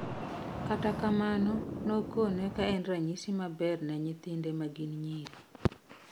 Kata kamano nokonee ka en ranyisi maber ne nyithinde ma gin nyiri